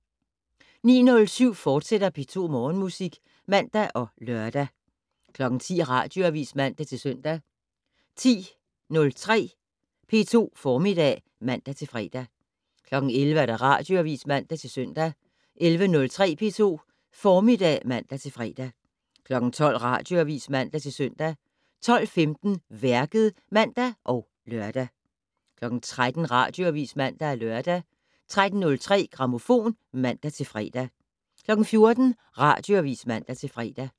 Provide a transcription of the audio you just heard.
09:07: P2 Morgenmusik, fortsat (man og lør) 10:00: Radioavis (man-søn) 10:03: P2 Formiddag (man-fre) 11:00: Radioavis (man-søn) 11:03: P2 Formiddag (man-fre) 12:00: Radioavis (man-søn) 12:15: Værket (man og lør) 13:00: Radioavis (man-lør) 13:03: Grammofon (man-fre) 14:00: Radioavis (man-fre)